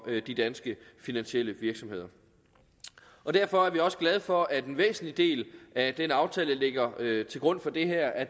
de danske finansielle virksomheder derfor er vi også glade for at en væsentlig del af den aftale der ligger til grund for det her er